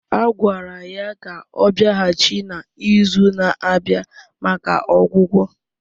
A gwara ya ka ọ bịaghachi na izu na-abịa maka ọgwụgwọ